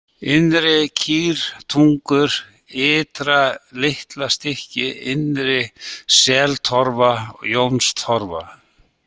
Innri-Kýrtungur, Ytra-Litlastykki, Innri-Seltorfa, Jónstorfa